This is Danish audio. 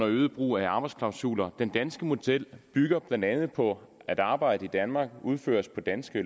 øget brug af arbejdsklausuler den danske model bygger blandt andet på at arbejde i danmark udføres på danske